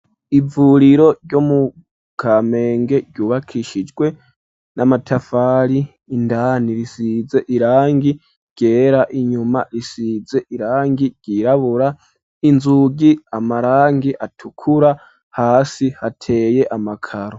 Ivuriro ryo mu Kamenge, ryubakishijwe n'amatafari; indani risize irangi ryera, inyuma, risize irangi ryirabura, inzugi amarangi atukura, hasi hateye amakaro.